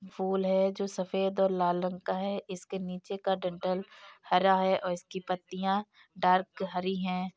फूल है जो सफ़ेद और लाल रंग का है| इसके नीचे का डंठल हरा है और इसकी पत्तियाँ डार्क हरी है।